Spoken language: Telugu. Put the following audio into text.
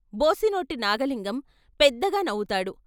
బోసినోటి నాగలింగం పెద్దగా నవ్వు తాడు.